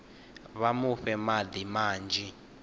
vha mu fhe madi manzhi